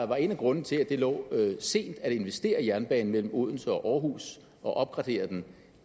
var en af grundene til at det lå sent at investere i jernbanen mellem odense og aarhus og opgradere den